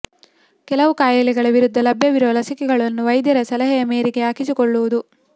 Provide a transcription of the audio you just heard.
ಕೆಲವು ಕಾಯಿಲೆಗಳ ವಿರುದ್ಧ ಲಭ್ಯವಿರುವ ಲಸಿಕೆಗಳನ್ನು ವೈದ್ಯರ ಸಲಹೆಯ ಮೇರೆಗೆ ಹಾಕಿಸಿಕೊಳ್ಳುವುದು